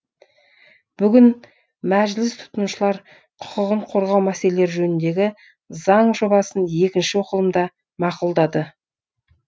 бүгін мәжіліс тұтынушылар құқығын қорғау мәселелері жөніндегі заң жобасын екінші оқылымда мақұлдады